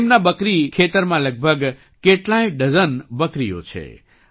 તેમના બકરી ખેતરમાં લગભગ કેટલાય ડઝન બકરીઓ છે